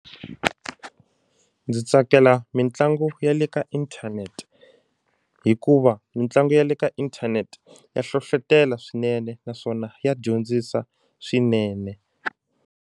Ndzi tsakela mitlangu ya le ka inthanete hikuva mitlangu ya le ka inthanete ya hlohlotelo swinene naswona ya dyondzisa swinene.